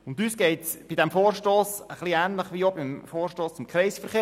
Uns geht es bei diesem Vorstoss etwas ähnlich wie beim Vorstoss zum Kreisverkehr.